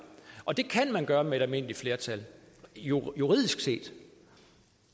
og det kan man gøre med et almindeligt flertal juridisk set